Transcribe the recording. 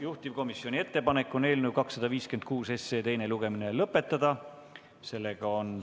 Juhtivkomisjoni ettepanek on eelnõu 256 teine lugemine lõpetada.